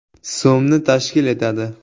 so‘mni tashkil etadi.